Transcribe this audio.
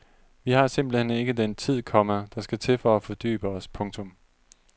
Vi har simpelt hen ikke den tid, komma der skal til for at fordybe os. punktum